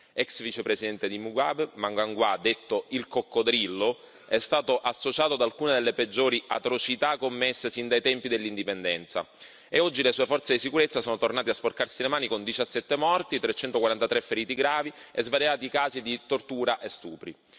Ex vicepresidente di Mugabe, Mnangagwa, detto il coccodrillo, è stato associato ad alcune delle peggiori atrocità commesse sin dai tempi dell'indipendenza, e oggi le sue forze di sicurezza sono tornate a sporcarsi le mani con 17 morti, 343 feriti gravi e svariati casi di tortura e stupri.